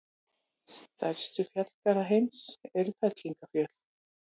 Stærstu fjallgarðar heims eru fellingafjöll.